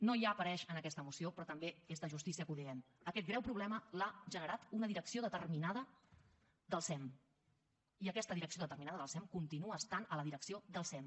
no hi apareix en aquesta moció però també és de justícia que ho diguem aquest greu problema l’ha generat una direcció determinada del sem i aquesta direcció determinada del sem continua estant a la direcció del sem